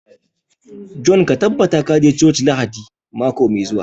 John ka tabbata ka je coci Lahadin mako mai zuwa